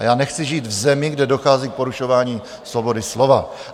A já nechci žít v zemi, kde dochází k porušování svobody slova.